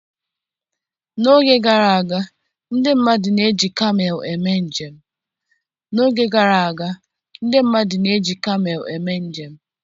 N'oge gara aga, ndị mmadụ na-eji kamel eme njem.